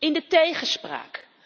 In de tegenspraak!